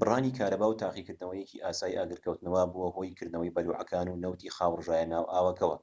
بڕانی کارەبا و تاقیکردنەوەیەکی ئاسایی ئاگرکەوتنەوە بووە هۆی کردنەوەی بەلوعەکان و نەوتی خاو ڕژایە ناو ئاوەکەوە